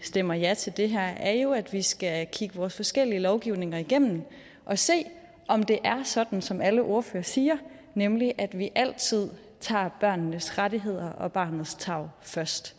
stemmer ja til det her er jo at vi skal kigge vores forskellige lovgivninger igennem og se om det er sådan som alle ordførere siger nemlig at vi altid tager børnenes rettigheder og barnets tarv først